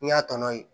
N'i y'a tɔ ye